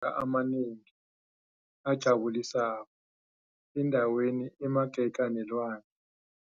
a amanengi ajabulisako endaweni emagega nelwandle.